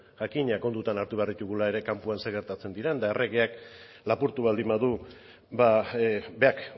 jakina kontutan hartu behar ditugula ere kanpoan zer gertatzen diren eta erregeak lapurtu baldin badu berak